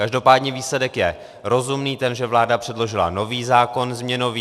Každopádně výsledek je rozumný - ten, že vláda předložila nový zákon změnový.